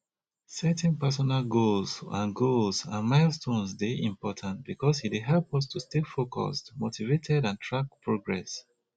setting personal goals and goals and milestones dey important because e dey help us to stay focused motivated and track progress